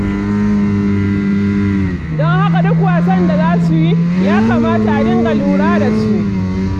Don haka duk wasan da za su yi, ya kamata a dinga lura da su.